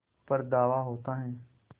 पर धावा होता है